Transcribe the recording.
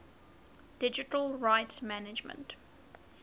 digital rights management